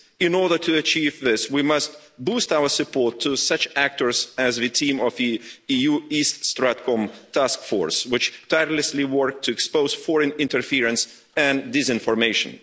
In order to achieve this, we must boost our support to such actors as the team of the EU's East StratCom Task Force, which tirelessly work to expose foreign interference and disinformation.